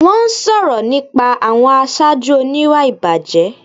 Wọ́n sọ̀rọ̀ nípa àwọn aṣáájú oníwà ìbàjẹ́